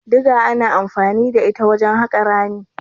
Diga ana anfani da ita wajen haƙa rami.